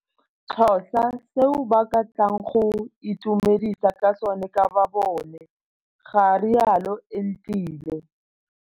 Xhosa seo ba ka tlang go itumedisa ka sone ka bobone, ga rialo Entile.